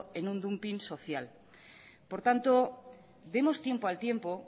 en un dumping social por tanto demos tiempo al tiempo